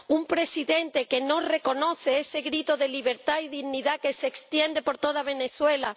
un Presidente que no reconoce ese grito de libertad y dignidad que se extiende por toda Venezuela.